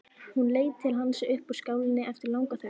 Hún leit til hans upp úr skálinni eftir langa þögn.